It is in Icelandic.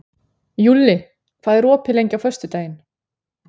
Júlli, hvað er opið lengi á föstudaginn?